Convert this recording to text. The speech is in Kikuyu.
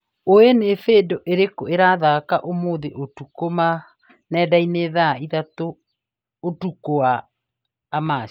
Olĩ nĩ bindiũ irĩkũ irathaka ũmũthĩ ũtukũ nendaini thaa ithatũ ũtukũ wa amaci